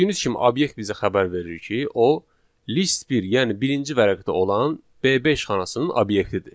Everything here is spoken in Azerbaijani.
Gördüyünüz kimi obyekt bizə xəbər verir ki, o list bir, yəni birinci vərəqdə olan B5 xanasının obyektidir.